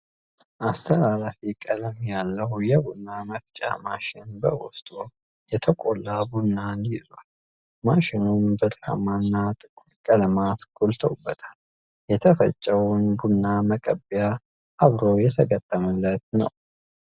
አስተላላፊ ቀለም ያለው የቡና መፍጫ ማሽን በዉስጡ የተቆላ ቡናን ይዟል። ማሽኑም ብራማ እና ጥቁር ቀለማት ጎልተዉበታል። የተፈጨውን ቡና መቀበያም አብሮ የተገጠመለት ነው።